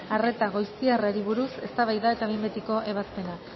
arreta goiztiarrari buruz eztabaida eta behin betiko ebazpena